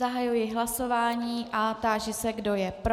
Zahajuji hlasování a táži se, kdo je pro.